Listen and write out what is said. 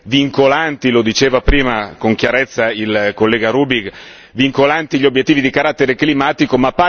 vincolanti lo diceva prima con chiarezza il collega Rübig gli obiettivi di carattere climatico.